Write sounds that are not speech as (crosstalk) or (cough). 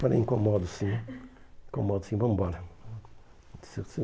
Falei, incomodo sim, incomodo sim, vamos embora. (unintelligible)